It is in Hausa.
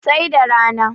sai da rana